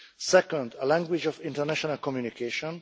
second is a language of international communication